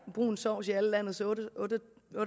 brun sovs i alle landets otte og